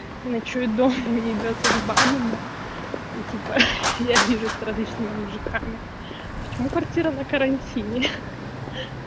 не ночует дома и ебёца с бабами и типа я вижусь с различными мужиками почему квартира на карантине хи-хи